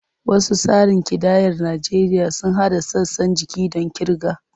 Wasu tsarin kidayar Najeriya sun haɗa sassan jiki don kirga.